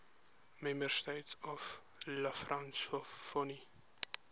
member states of la francophonie